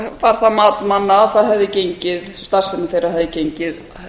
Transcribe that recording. var það mat manna að það hefði gengið starfsemi þeirra hefði gengið